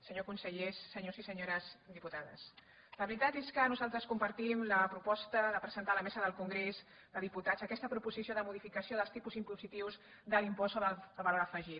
senyors consellers senyors i senyores diputades la veritat és que nosaltres compartim la proposta de presentar a la mesa del congrés de diputats aquesta proposició de modificació dels tipus impositius de l’impost sobre el valor afegit